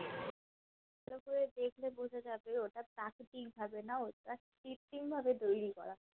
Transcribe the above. তো দেখলে বোঝা যাবে ওটা প্রাকৃতিক ভাবে না ওটা কৃত্রিম ভাবে তৈরী করা